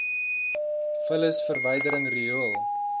vullis verwydering riool